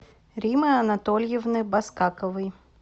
римы анатольевны баскаковой